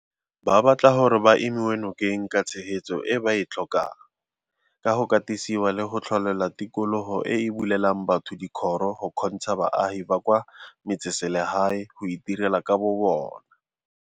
Ba batla gore ba emiwe nokeng ka tshegetso e ba e tlhokang, ka go katisiwa le go tlholelwa tikologo e e bulelang batho dikgoro go kgontsha baagi ba kwa metseselegae go itirela ka bobona.